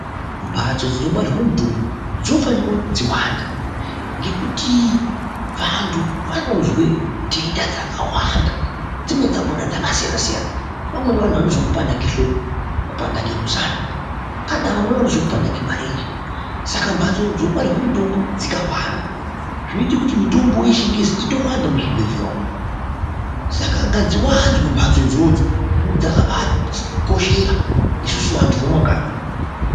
Mbatso dzinogwarirwe mitombo dzinofanika kuti dziwande ngekuti vantu vanozwe ntenda dzakawanda, dzimweni dzakona dzakasiyana-siyana. Vamweni vanozwe kupanda kwehloko, kupanda kwemusana, kana vamweni vanozwe kupanda kwemarenje, saka mbatso dzinogwarirwe mitombo dzikawanda zvinoite kuti mitombo yechingezi itowanda muzvibhedhlera umwo, saka ngadziwanzwe mbatso idzodzo ngekuti dzakabaati koshera isusu vantu vemumakanyi.